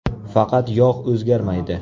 Faqat yog‘ o‘zgarmaydi.